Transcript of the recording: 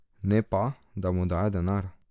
Ne pa, da mu daje denar.